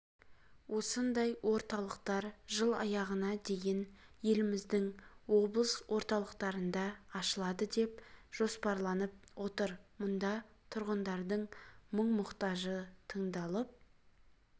осындай орталықтар жыл аяғына дейін еліміздің облыс орталықтарында ашылады деп жоспарланып отыр мұнда тұрғындардың мұң-мұқтажы тыңдалып